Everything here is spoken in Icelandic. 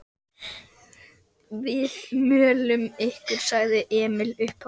Við möluðum ykkur, sagði Emil upphátt.